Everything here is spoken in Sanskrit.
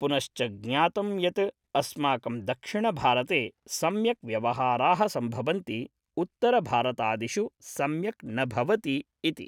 पुनश्च ज्ञातं यत् अस्माकं दक्षिणभारते सम्यक् व्यवहाराः सम्भवन्ति उत्तरभारतादिषु सम्यक् न भवति इति